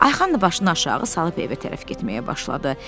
Ayxan da başını aşağı salıb evə tərəf getməyə başladı.